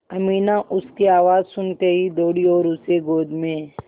अमीना उसकी आवाज़ सुनते ही दौड़ी और उसे गोद में